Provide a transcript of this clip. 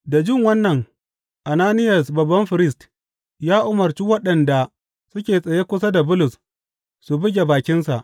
Da jin wannan Ananiyas babban firist ya umarci waɗanda suke tsaye kusa da Bulus su buge bakinsa.